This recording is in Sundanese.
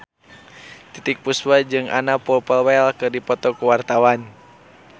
Titiek Puspa jeung Anna Popplewell keur dipoto ku wartawan